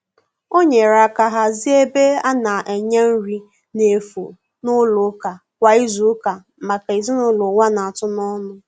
O nyere aka hazie ebe a na-enye nri na efu n'ụlọ ụka kwa izuụka maka ezinụlọ ụwa na-atụ n'ọnụ.